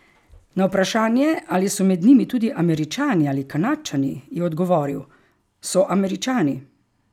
Na vprašanje, ali so med njimi tudi Američani ali Kanadčani, je odgovoril: "So Američani.